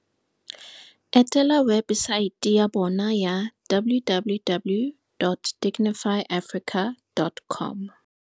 Etela webesaete ya bona ya www.digifyafrica dot com.